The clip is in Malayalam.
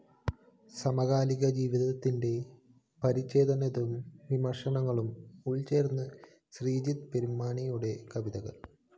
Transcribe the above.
സമകാലിക ജീവിതത്തിന്റെ പരിഛേദങ്ങളും വിമര്‍ശനങ്ങളും ഉള്‍ച്ചേര്‍ന്ന ശ്രീജിത് പെരുമാനിയുടെ കവിതകള്‍